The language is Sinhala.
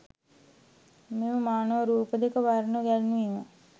මෙම මානව රූප දෙක වර්ණ ගැන්වීම